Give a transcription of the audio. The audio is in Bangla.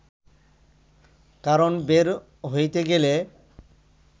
কারণ বের হইতে গেলে